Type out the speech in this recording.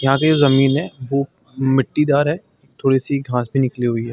यहाँ पे एक ज़मीन है वो मिट्टीदार है थोड़ी सी घास भी निकली हुई है।